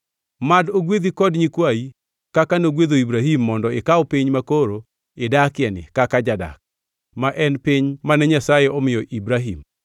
Mad ogwedhi kod nyikwayi kaka nogwedho Ibrahim mondo ikaw piny makoro idakieni kaka jadak, ma en piny mane Nyasaye omiyo Ibrahim.”